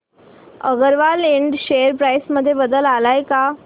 Agarwal Ind share price मध्ये बदल आलाय का